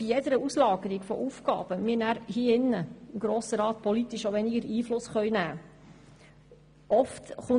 Bei jeder Auslagerung von Aufgaben können wir zudem politisch weniger Einfluss nehmen.